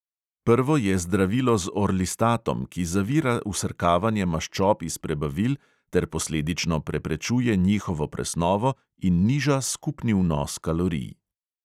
Prvo je zdravilo z orlistatom, ki zavira vsrkavanje maščob iz prebavil ter posledično preprečuje njihovo presnovo in niža skupni vnos kalorij.